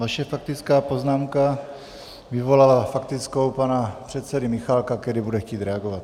Vaše faktická poznámka vyvolala faktickou pana předsedy Michálka, který bude chtít reagovat.